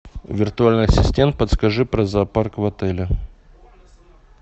виртуальный ассистент подскажи про зоопарк в отеле